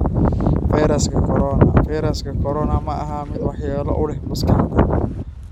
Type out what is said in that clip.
Fayraska Corona: Fayraska Corona ma aha mid waxyeello u leh maskaxda